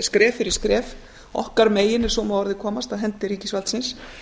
skref fyrir skref okkar megin ef svo má að orði komast af hendi ríkisvaldsins